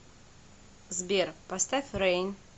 сбер поставь рэйн